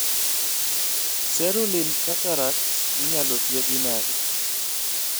Cerulean cataracts inyalo thiedhi nade